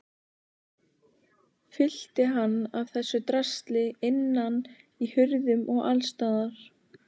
Fyllti hann af þessu drasli innan í hurðum og allsstaðar.